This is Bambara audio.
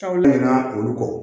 Olu ɲina olu kɔ